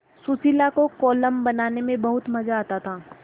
सुशीला को कोलम बनाने में बहुत मज़ा आता